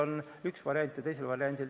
Ma absoluutselt ei saanud vastust.